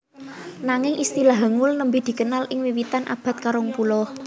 Nanging istilah Hangul nembé dikenal ing wiwitan abad karongpuluh